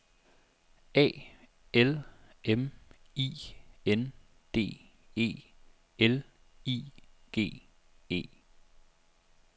A L M I N D E L I G E